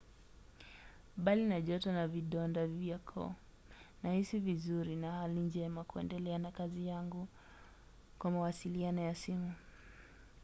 "bali na joto na vidonda vya koo nahisi vizuri na hali njema kuendelea na kazi yangu kwa mawasiliano ya simu